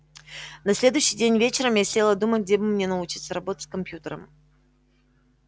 на следующий день вечером я села думать где бы мне научиться работать с компьютером